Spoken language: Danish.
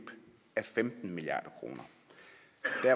af femten milliard kroner